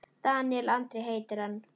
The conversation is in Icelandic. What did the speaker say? Daníel Andri heitir hann.